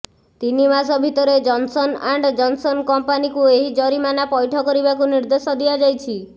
ତିନି ମାସ ଭିତରେ ଜନ୍ସନ୍ ଆଣ୍ଡ ଜନ୍ସନ୍ କମ୍ପାନୀକୁ ଏହି ଜରିମାନା ପୈଠ କରିବାକୁ ନିର୍ଦ୍ଦେଶ ଦିଆଯାଇଛି